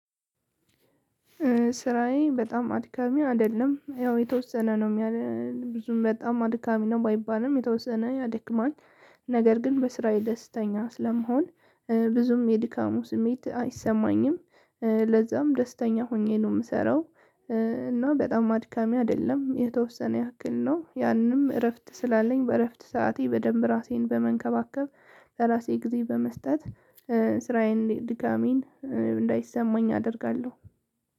ስራዬ በጣም አድካሚ አይደለም ያው የተወሰነ ነው ብዙም በጣም አድካሚ ነው ባይባልም የተወሰነ ያደክማል። ነገር ግን በስራዬ ደስተኛ ስለመሆን ብዙም የድካሙ ስሜት አይሰማኝም። ለዛም ደስተኛ ሆኜ ነው የምሰራው። እና በጣም አድካሚ አይደለም የተወሰነ ያክል ነው። ያንም እረፍት ስላለኝ በእረፍት ሰዓቴ በደንብ ራሴን በመንከባከብ ለራሴ ጊዜ በመስጠት ስራዬን ድካሜን እንዳይሰማኝ አደርጋለሁ።